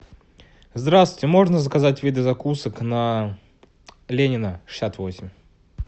здравствуйте можно заказать виды закусок на ленина шестьдесят восемь